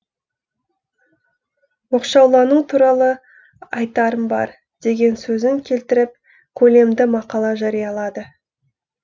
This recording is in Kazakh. оқшаулану туралы айтарым бар деген сөзін келтіріп көлемді мақала жариялады